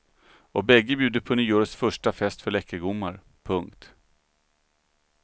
Och bägge bjuder på nyårets första fest för läckergommar. punkt